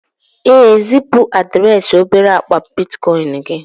ee, zipu adreesị obere akpa bitcoin gị